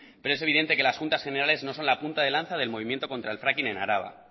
pero es evidente que las juntas generales no son la punta de lanza del movimiento contra el fracking en araba